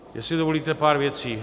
Jestli dovolíte, pár věcí.